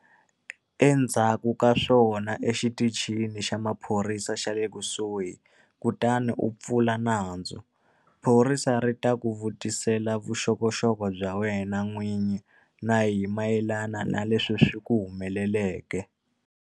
Endzhaku ka swona yana exitichini xa maphorisa xa le kusuhi kutani u pfula nandzu. Phorisa ri ta ku vutisela vuxokoxoko bya wena n'wini na hi mayelana na leswi swi ku humeleleke.